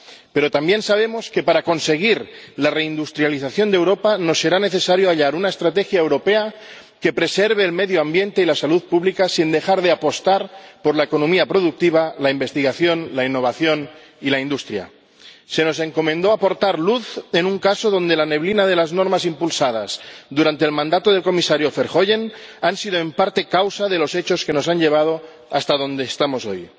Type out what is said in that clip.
Pero también sabemos que para conseguir la reindustrialización de Europa nos será necesario hallar una estrategia europea que preserve el medio ambiente y la salud pública sin dejar de apostar por la economía productiva, la investigación, la innovación y la industria. Se nos encomendó aportar luz en un caso en el que la neblina de las normas impulsadas durante el mandato del Comisario Verheugen ha sido, en parte, causa de los hechos que nos han llevado hasta donde estamos hoy